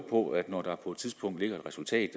på at når der på et tidspunkt ligger et resultat